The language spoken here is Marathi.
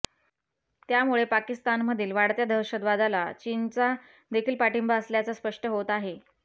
त्यामुळे पाकिस्तानमधील वाढत्या दहशतवादाला चीनचा देखील पाठिंबा असल्याचं स्पष्ट होत आहे